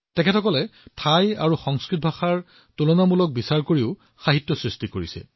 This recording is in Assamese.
তেওঁলোকে থাই আৰু সংস্কৃত ভাষাতো তুলনামূলক সাহিত্য ৰচনা কৰিছে